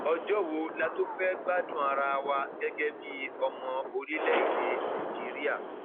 ọjọ wo la tóò fẹẹ gbádùn ara wa gẹgẹ bíi ọmọ orílẹèdè nàíjíríà